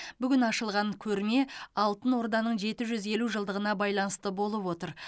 бүгін ашылған көрме алтын орданың жеті жүз елу жылдығына байланысты болып отыр